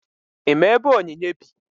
Ị ma ebe Onyinye bi?